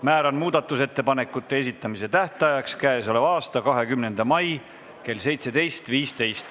Määran muudatusettepanekute esitamise tähtajaks k.a 20. mai kell 17.15.